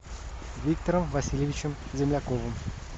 виктором васильевичем земляковым